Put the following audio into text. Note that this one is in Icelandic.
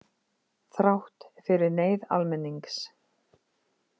Þrátt fyrir neyð almennings.